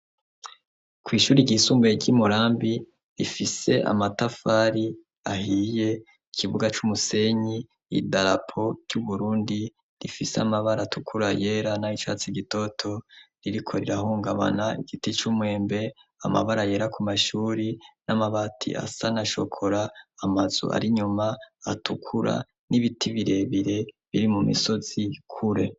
Kw'ishuri ryisumbuye ry'i murambi rifise amatafari ahiye ikibuga c'umusenyi idarapo ry'uburundi rifise amabara tukura yera na icatsi gitoto ririko rirahungabana igiti c'umwembe amabara yera ku mashuri n'amabati asa niashokora amazu ari inyuma atukura n'ibiti birebire biri mu misozi ikure.